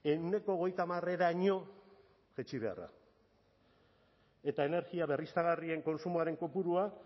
ehuneko hogeita hamareraino jaitsi beharra eta energia berriztagarrien kontsumoaren kopurua